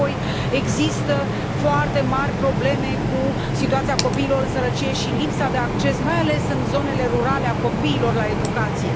Apoi, există foarte mari probleme cu situația copiilor în sărăcie și lipsa de acces, mai ales în zonele rurale, a copiilor la educație.